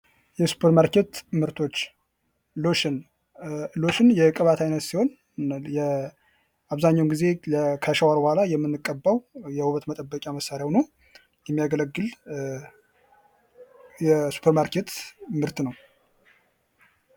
የሱፐር ማርኬት ምርቶች ሎሽን ሎሽን የቅባት አይነት ሲሆን አብዛኛውን ጊዜ ከሻወር በኋላ የምንቀባው የውበት መጠበቂያ መሳርያ ሁኖ የሚያገለግል የሱፐር ማርኬት ምርት ነው።